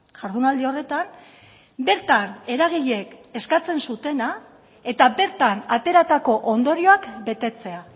jardunaldi horretan bertan eragileek eskatzen zutena eta bertan ateratako ondorioak betetzea